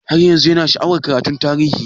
Har yanzun Yana sha'awar karatun tarihi?